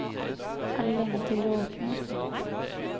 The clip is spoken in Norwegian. Er det lenge til du åpner?